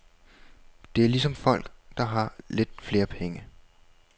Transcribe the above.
Det er ligesom folk, der har lidt flere penge.